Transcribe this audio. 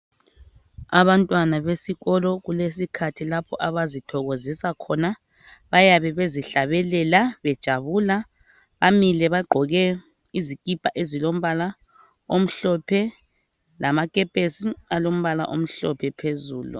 Abantwana besikolo kulesikhathi lapho abazithokozisa khona ,bayabe bezihlabelela bejabula . Bamile bagqoke izikipa ezilombala omhlophe lamakepesi alombala omhlophe phezulu .